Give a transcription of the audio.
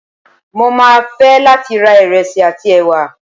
mo ma fe latí ra iresí atí ewá